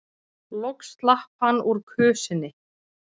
Loks slapp hann úr kösinni.